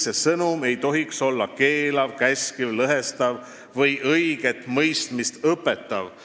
See sõnum ei tohiks olla keelav, käskiv, lõhestav või õiget mõistmist õpetav.